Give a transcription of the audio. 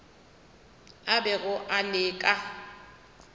a bego a le ka